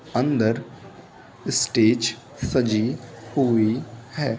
अंदर स्टेज सजी हुई है।